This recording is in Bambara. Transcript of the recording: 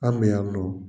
An bɛ yan nɔ